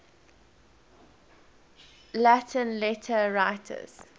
latin letter writers